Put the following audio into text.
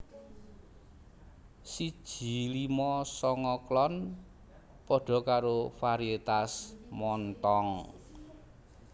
siji limo songo klon padha karo varietas Montong